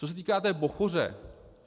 Co se týká té Bochoře.